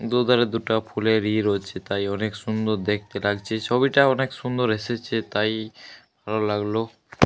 দু ধারে দুটো ফুলের ইয় রয়েছে তাই অনেক সুন্দর দেখতে লাগছে। ছবিটা অনেক সুন্দর এসেছে তাই ভালো লাগলো।